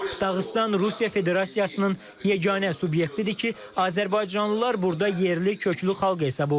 Dağıstan Rusiya Federasiyasının yeganə subyektidir ki, azərbaycanlılar burda yerli köklü xalq hesab olunur.